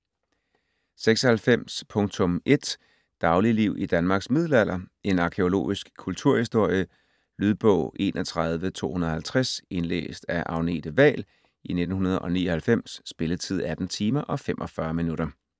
96.1 Dagligliv i Danmarks middelalder En arkæologisk kulturhistorie. Lydbog 31250 Indlæst af Agnete Wahl, 1999. Spilletid: 18 timer, 45 minutter.